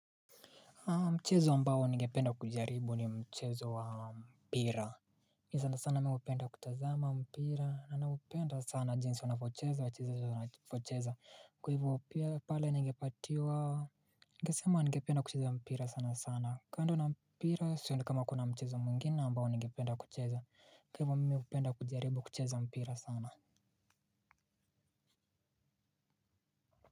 Mchezo ambao ningependa kujaribu ni mchezo wa mpira. Nisa sana sana mi hupenda kutazama mpira na naupenda sana jinsi wanavyocheza wachezaji kwa ivo pale ningepatiwa. Ningesema ningependa kucheza mpira sana sana kando na mpira sioni kama kuna mchezo mwingine ambao ningependa kucheza kwa ivo mimi hupenda kujaribu kucheza mpira sana.